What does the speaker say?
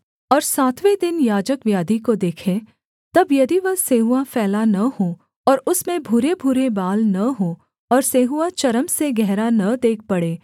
और सातवें दिन याजक व्याधि को देखे तब यदि वह सेंहुआ फैला न हो और उसमें भूरेभूरे बाल न हों और सेंहुआ चर्म से गहरा न देख पड़े